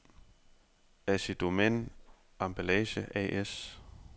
Assidomän Emballage A/S